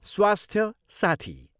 स्वास्थ्य साथी।